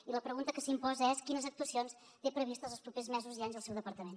i la pregunta que s’imposa és quines actuacions té previstes els propers mesos i anys el seu departament